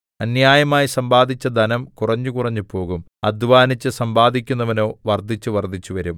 അന്യായമായി സമ്പാദിച്ച ധനം കുറഞ്ഞുകുറഞ്ഞ് പോകും അദ്ധ്വാനിച്ച് സമ്പാദിക്കുന്നവനോ വർദ്ധിച്ചുവർദ്ധിച്ച് വരും